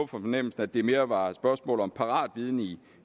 fornemmelsen at det mere var et spørgsmål om paratviden i